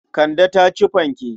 Kande ta ci fanke.